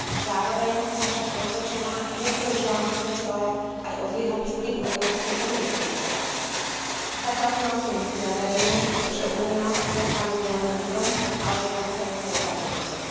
Zároveň som však presvedčená, že by to, žiaľ, svedčilo aj o zlyhaní vplyvu Európskej únie v tejto oblasti. Zatiaľ sme optimisti a veríme, že Únia sa stane nielen lídrom, ale aj že konferencia dopadne dobre.